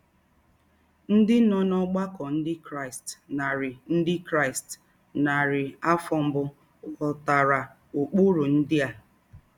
Ndị nọ n'ọgbakọ Ndị Kraịst narị Ndị Kraịst narị afọ mbụ ghọtara ụkpụrụ ndị a.